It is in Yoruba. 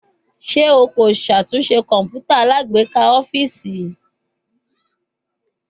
Ṣe o ko ṣatunṣe kọǹpútà alágbèéká ọfiisi?